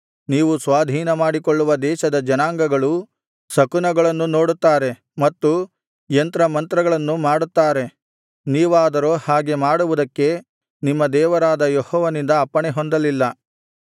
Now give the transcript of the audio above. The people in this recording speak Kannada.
ನೀವು ಸ್ವಾಧೀನಮಾಡಿಕೊಳ್ಳುವ ದೇಶದ ಜನಾಂಗಗಳು ಶಕುನಗಳನ್ನು ನೋಡುತ್ತಾರೆ ಮತ್ತು ಯಂತ್ರ ಮಂತ್ರಗಳನ್ನು ಮಾಡುತ್ತಾರೆ ನೀವಾದರೋ ಹಾಗೆ ಮಾಡುವುದಕ್ಕೆ ನಿಮ್ಮ ದೇವರಾದ ಯೆಹೋವನಿಂದ ಅಪ್ಪಣೆಹೊಂದಲಿಲ್ಲ